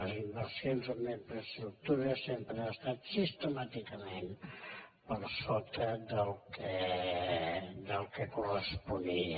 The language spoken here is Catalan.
les inversions en infraestructures sempre han estat sistemàticament per sota del que corresponia